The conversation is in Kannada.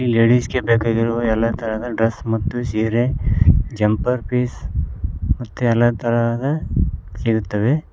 ಲೇಡೀಸ್ ಗೆ ಬೇಕಾಗಿರುವ ಎಲ್ಲಾ ತರಹದ ಡ್ರೆಸ್ ಮತ್ತು ಸೀರೆ ಜಂಪರ್ ಪೀಸ್ ಎಲ್ಲ ತರಹದ ಸಿಗುತ್ತವೆ.